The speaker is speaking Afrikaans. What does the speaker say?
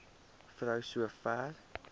vrou so ver